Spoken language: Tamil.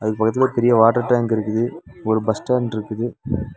இதுக்கு பக்கத்துலயே ஒரு பெரிய வாட்டர் டேங்க் இருக்குது ஒரு பஸ் ஸ்டாண்ட்ருக்குது .